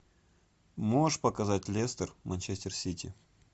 можешь показать лестер манчестер сити